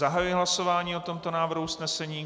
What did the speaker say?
Zahajuji hlasování o tomto návrhu usnesení.